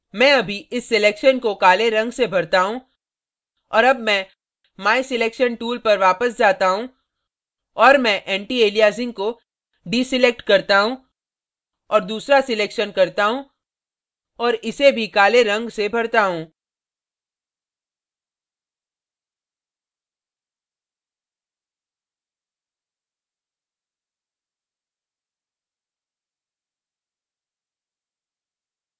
मैं अभी इस selection को काले रंग से भरता हूँ और अब मैं my selection tool पर वापस जाता हूँ और मैं antialiasing को deselect करता हूँ और दूसरा selection करता हूँ और इसे भी काले रंग से भरता हूँ